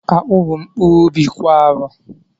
Akpu bụ mkpụrụ ubi kwa arọ